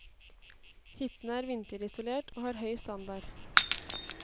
Hyttene er vinterisolert, og har høy standard.